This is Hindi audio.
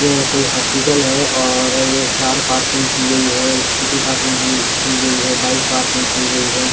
ये एक कोई हॉस्पिटल है और अअ ये कार पार्किंग की गई है स्कूटी पार्किंग की अअ की गई है बाइक पार्किंग की गई है।